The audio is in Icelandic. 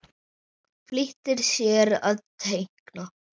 Flýtir sér að teikna.